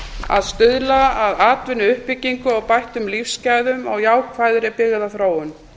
að stuðla að atvinnuuppbyggingu bættum lífsgæðum og jákvæðri byggðaþróun